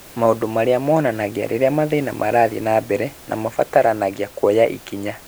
Maũndũ marĩa monanagia rĩrĩa mathĩna marathiĩ na mbere na mabataranagia kuoya ikinya